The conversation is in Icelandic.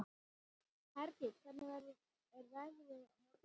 Hergill, hvernig er veðrið á morgun?